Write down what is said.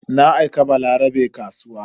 Na aika Balarabe kasuwa.